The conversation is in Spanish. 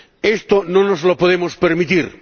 Esto no nos lo podemos permitir